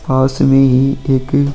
पास में ही एक--